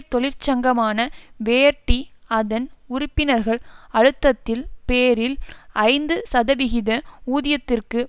தொழிற்சங்கமான Verdi அதன் உறுப்பினர்கள் அழுத்தத்தில் பேரில் ஐந்து சதவிகித ஊதியத்திற்கு